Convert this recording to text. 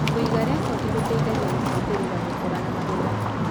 Kũiga rekodi gũteithagia kũbuatĩrĩra gũkũra na magetha.